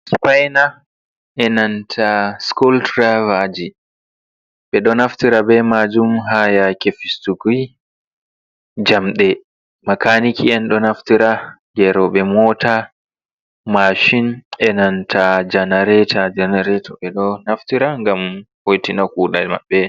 Sifaina e nanta school driverji be do naftira bai majun hayake fistuki jamde makaniki yan do naftira gerobe mota mashin e nanta janarator janarator be do naftira gam hoti na kuda mabe.